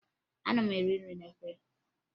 Ana m eri nri n'efere